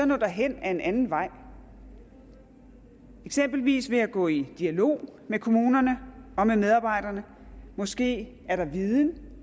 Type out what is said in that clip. nå derhen ad en anden vej eksempelvis vil jeg gå i dialog med kommunerne og med medarbejderne måske er der viden